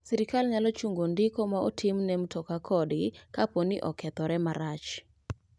Sirkal nyalo chungo ndiko ma ontimne mtoka kodgi kapo ni okethore marach.